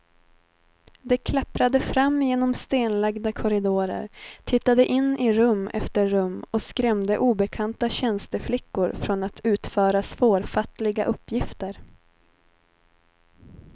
De klapprade fram genom stenlagda korridorer, tittade in i rum efter rum och skrämde obekanta tjänsteflickor från att utföra svårfattliga uppgifter.